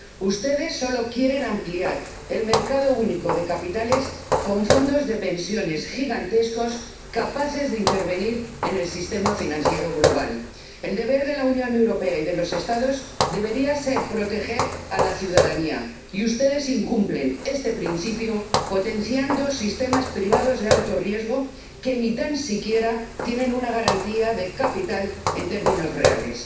Ustedes solo quieren ampliar el mercado único de capitales con fondos de pensiones gigantescos capaces de intervenir en el sistema financiero global El deber de la Unión Europea y de los Estados debería ser proteger a la ciudadanía, y ustedes incumplen este principio potenciando sistemas privados de alto riesgo que ni tan siquiera tienen una garantía de capital en términos reales.